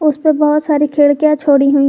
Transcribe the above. उसपे बहुत सारी खिड़कियां छोड़ी हुई--